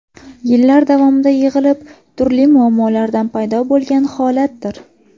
Yillar davomida yig‘ilib, turli muammolardan paydo bo‘lgan holatdir.